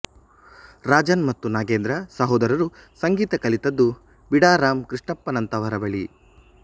ರಾಜನ್ ಮತ್ತು ನಾಗೇಂದ್ರ ಸಹೋದರರು ಸಂಗೀತ ಕಲಿತದ್ದು ಬಿಡಾರಂ ಕೃಷ್ಣಪ್ಪನಂತಹವರ ಬಳಿ